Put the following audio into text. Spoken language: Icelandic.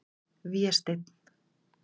Vésteinn